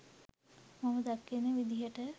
මම දකින විදියට